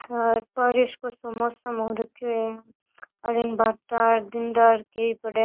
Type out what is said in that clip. और बारिश को सो मौसम हो रखियो है अठीने भाटा ढंडा कई पड़िया।